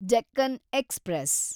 Deccan express